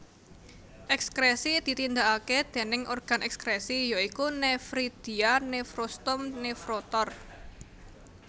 Ekskresi ditindakaké déning organ ekskresi ya iku nefridia nefrostom nefrotor